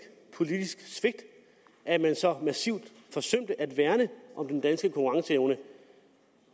politisk svigt at man så massivt forsømte at værne om den danske konkurrenceevne